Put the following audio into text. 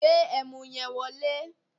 Gbe ẹmu yẹn wọlé!